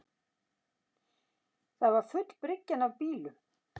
Það var full bryggjan af bílum